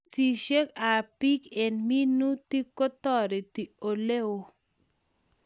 Pisishet ab beek eng' minutik ko tareti ole oo